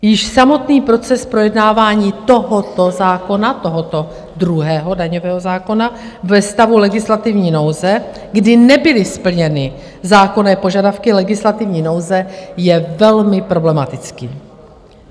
Již samotný proces projednávání tohoto zákona, tohoto druhého daňového zákona, ve stavu legislativní nouze, kdy nebyly splněny zákonné požadavky legislativní nouze, je velmi problematický.